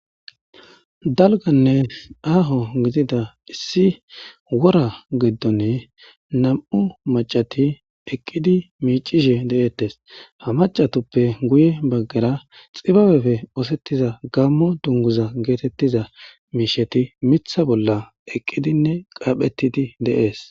dalganne aaho gidida issi wora giddonne nam'u macati eqqidi miicishe dee'ettes ha macatuppe guye baggera xibabefe oosettiza gammo dunguza geetettiza miisheti mitha bolla eqqidinne qaaphetidi dee'es